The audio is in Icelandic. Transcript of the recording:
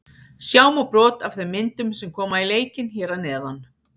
Sjá má brot af þeim myndum sem koma í leikinn hér að neðan.